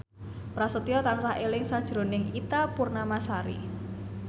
Prasetyo tansah eling sakjroning Ita Purnamasari